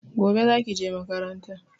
Gobe zaki je makaranta